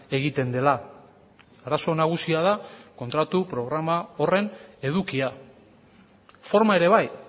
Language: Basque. egiten dela arazo nagusia da kontratu programa horren edukia forma ere bai